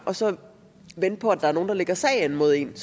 og så vente på at der er nogen der lægger sag an mod en